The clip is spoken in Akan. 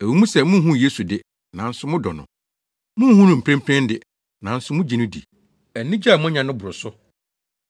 Ɛwɔ mu sɛ munhu Yesu de, nanso modɔ no. Munhu no mprempren de, nanso mugye no di. Anigye a moanya no boro so,